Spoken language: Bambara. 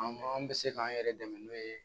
An bɛ se k'an yɛrɛ dɛmɛ n'o ye